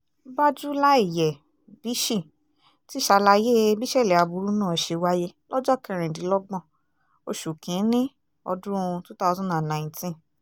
bájúláìyẹ́-bshí ti ṣàlàyé bíṣẹ́lé aburú náà ṣe wáyé lọ́jọ́ kẹrìndínlọ́gbọ̀n oṣù kì-ín-ní ọdún two thousand and nineteen